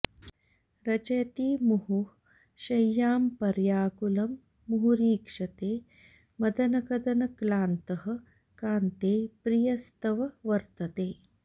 रचयति मुहुः शय्यां पर्याकुलं मुहुरीक्षते मदनकदनक्लान्तः कान्ते प्रियस्तव वर्तते